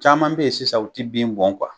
Caman bɛ yen sisan u tɛ bin bɔn